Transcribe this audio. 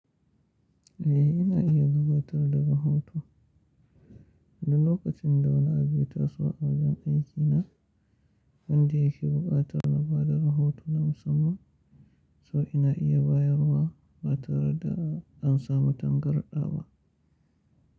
Eh, ina iya gabatar da rahoto. Duk lokacin da wani ya taso a wajen aiki na, wanda ya ke buƙatar na ba da rahoto na musamman, so ina iya bayarwa ba tare da an samu tangarɗa ba.